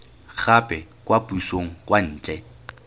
gape kwa pusong kwa ntle